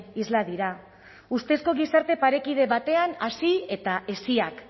isla dira ustezko gizarte parekide batean hasi eta heziak